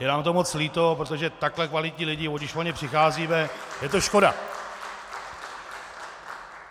Je nám to moc líto, protože takhle kvalitní lidi, když o ně přicházíme, je to škoda.